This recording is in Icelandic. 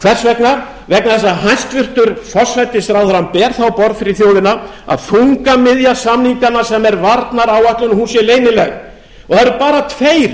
hvers vegna vegna þess að hæstvirtur forsætisráðherra ber það á borað fyrir þjóðina að þungamiðja samninganna sem er varnaráætlun sé leynileg og eru bara tveir